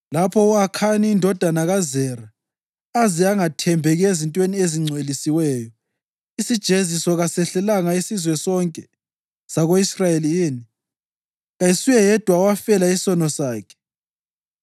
Lapho u-Akhani indodana kaZera aze angathembeki ezintweni ezingcwelisiweyo, isijeziso kasehlelanga isizwe sonke sako-Israyeli yini? Kayisuye yedwa owafela isono sakhe.’ ”